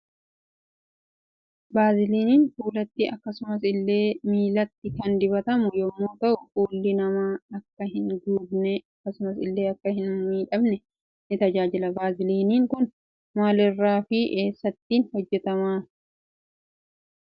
Baaziliiniin fuulatti akkasumas illee miilatti kan dibatamu yommuu ta'u fuulli nama Akka hin gogne akkasumas ille Akka hin miidhamne ni tajaajila. Baaziliiniin Kun maal irraa fi essattin hojjetamee gabaag dhiyaata?